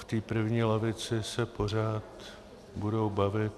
V té první lavici se pořád budou bavit.